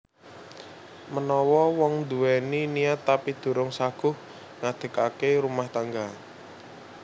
Menawa wong nduwèni niat tapi durung saguh ngadegake rumah tangga